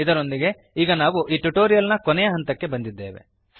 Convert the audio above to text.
ಇದರೊಂದಿಗೆ ಈಗ ನಾವು ಈ ಟ್ಯುಟೋರಿಯಲ್ ನ ಕೊನೆಯ ಹಂತಕ್ಕೆ ಬಂದಿದ್ದೇವೆ